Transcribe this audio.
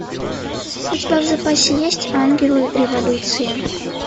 у тебя в запасе есть ангелы революции